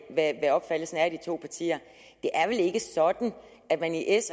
hvad opfattelsen er i de to partier det er vel ikke sådan at man i s